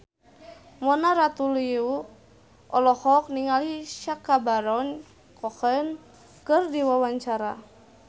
Mona Ratuliu olohok ningali Sacha Baron Cohen keur diwawancara